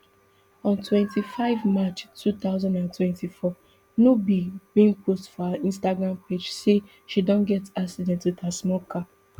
on twenty-five march two thousand and twenty-four nubi bin post for her instagram page say she don get accident wit her small car